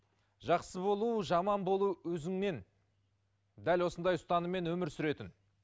жақсы болу жаман болу өзіңнен дәл осындай ұстаныммен өмір сүретін